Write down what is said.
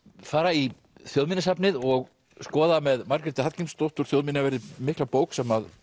fara í Þjóðminjasafnið og skoða með Margréti Hallgrímsdóttur þjóðminjaverði mikla bók sem